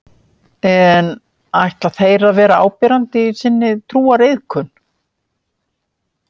En ætla þeir að vera áberandi í sinni trúariðkun?